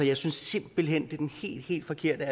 jeg synes simpelt hen at er den helt helt forkerte